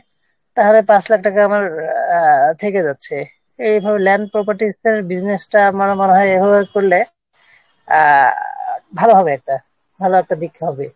তাহলে পাঁচ লাখ টাকা আমার থেকে যাচ্ছে এইভাবে ল্যান্ড property-র business-টা আবার আমার এভাবে করলে আহ ভালো হবে ব্যাপারটা ভালো একটা দিক হবে